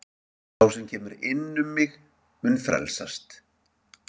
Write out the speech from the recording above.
Sá sem kemur inn um mig, mun frelsast.